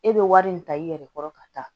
E bɛ wari min ta i yɛrɛ kɔrɔ ka taa